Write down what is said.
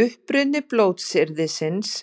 Uppruni blótsyrðisins